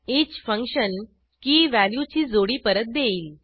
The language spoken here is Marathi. ईच फंक्शन keyवॅल्यू ची जोडी परत देईल